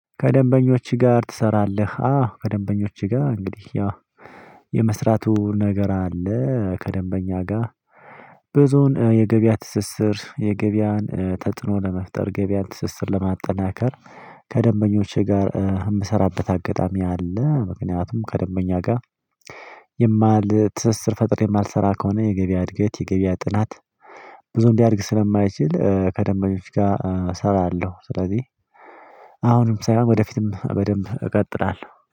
ከደንበኞችህ ጋር ትሰራለህ? አዎ ከደንበኞቼ ጋር እንግዲህ ያው የመስራቱ ነገር አለ ከደንበኛ ጋር ብዙውን የገበያ ትስስር የገበያን ተጽኖ ለመፍጠር ገበያን ትስስር ለማጠናከር ከደንበኞቼ ጋር የምሰራበት አጋጣሚ አለ ምክንያቱም ከደንበኛ ጋር የሚል ትስስር ፈጥሬ የማልሰራ ከሆነ የገበያ እድገት የገበያ ጥናት ብዙ ሊያድግ ስለማይችል ከደንበኞች ጋር እሰራለሁ ስለዚህ አሁንም ሳይሆን ወደፊትም በደንብ እቀጥላለሁ